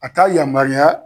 A t'a yamaruya